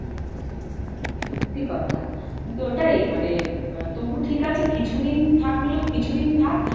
সত্যি কথা। কিন্তু ওটাই মানে তবু ঠিক আছে কিছু দিন থাকলেও কিছু দিন থাক।